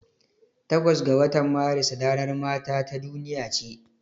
Takwas ga watan Maris ranar mata ta duniya ce.